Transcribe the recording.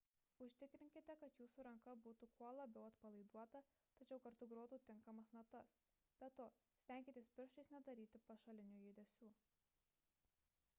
užtikrinkite kad jūsų ranka būtų kuo labiau atpalaiduota tačiau kartu grotų tinkamas natas – be to stenkitės pirštais nedaryti pašalinių judesių